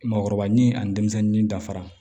Mɔgɔkɔrɔba ni ani denmisɛnnin dafara